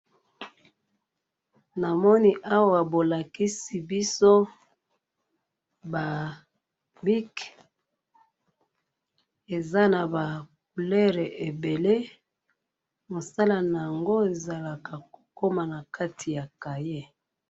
namoni awa bolakisi biso ba bic eza naba couleur ebele mosala nango ezalaka kokoma nakati ya cahier.